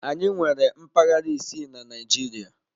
Anyị nwere mpaghara isii na Naịjirịa.